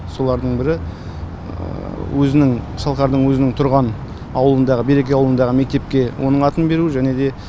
солардың бірі өзінің шалқардың өзінің тұрған ауылындағы береке ауылындағы мектепке оның атын беру және де